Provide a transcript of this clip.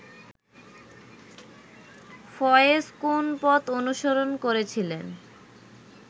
ফয়েজ কোন পথ অনুসরণ করেছিলেন